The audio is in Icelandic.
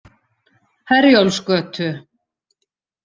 Herjólfsgötu